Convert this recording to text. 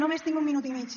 només tinc un minut i mig